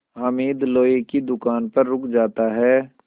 हामिद लोहे की दुकान पर रुक जाता है